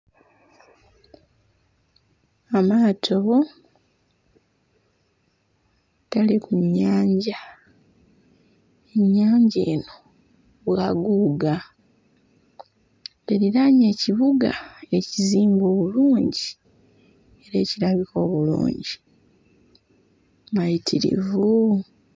Amaato gali ku nnyanja, ennyanja eno bwaguuga. Eriraanye ekibuga ekizimbe obulungi era ekirabika obulungi, mayitirivu!